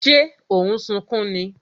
Ṣé o n sunkún ni?